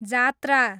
जात्रा